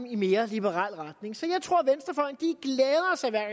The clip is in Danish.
i en mere liberal retning så jeg tror